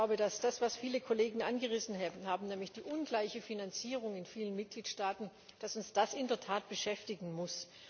Ich glaube, dass uns das, was viele Kollegen angerissen haben, nämlich die ungleiche Finanzierung in vielen Mitgliedstaaten, in der Tat beschäftigen muss.